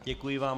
Děkuji vám.